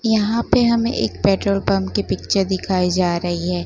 यहां पे हमें एक पेट्रोल पंप की पिक्चर दिखाई जा रही है।